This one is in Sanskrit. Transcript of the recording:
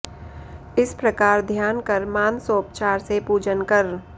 इस प्रकार ध्यान कर मानसोपचार से पूजन कर